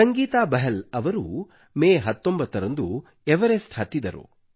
ಸಂಗೀತಾ ಬಹಲ್ ಅವರು ಮೇ 19 ರಂದು ಎವರೆಸ್ಟ್ ಹತ್ತಿದರು